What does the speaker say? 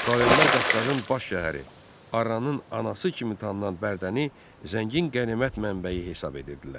Slavyanlar Qafqazın baş şəhəri, Arranın anası kimi tanınan Bərdəni zəngin qənimət mənbəyi hesab edirdilər.